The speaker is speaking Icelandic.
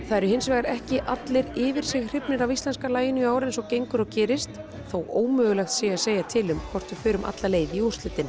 það eru hins vegar ekki allir yfir sig hrifnir af íslenska laginu í ár eins og gengur og gerist þó ómögulegt sé að segja til um hvort við förum alla leið í úrslitin